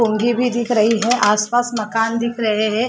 गोंगी भी दिख रही है आसपास मकान दिख रहे हैं।